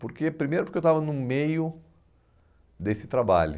porque primeiro porque eu estava no meio desse trabalho.